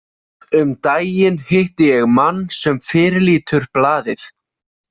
Um daginn hitti ég mann sem fyrirlítur blaðið.